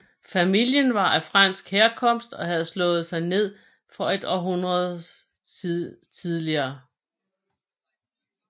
Familien var af fransk herkomst og havde slået sig ned der et århundrede tidligere